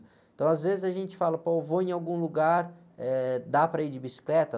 Então às vezes a gente fala, pô, eu vou em algum lugar, eh, dá para ir de bicicleta?